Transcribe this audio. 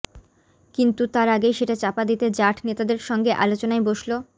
কিন্তু তার আগেই সেটা চাপা দিতে জাঠ নেতাদের সঙ্গে আলোচনায় বসল